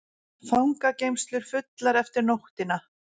Fangageymslur fullar eftir nóttina